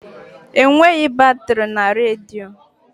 Enweghị batrị na redio.